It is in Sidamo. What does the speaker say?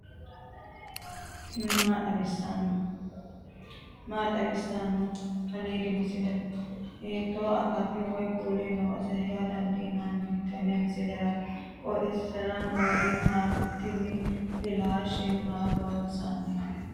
maa xawissanno aliidi misile ? hiitto akati woy kuuli noose yaa dandiinanni tenne misilera? qooxeessisera noori maati ? tini flashe ma loossannote